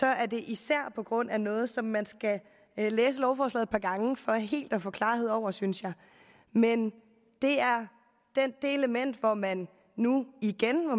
er det især på grund af noget som man skal læse lovforslaget et par gange for helt at få klarhed over synes jeg men det er det element hvor man nu igen må